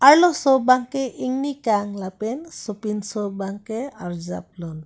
arloso bang ke ingni kang so pinso bangke arjap lun.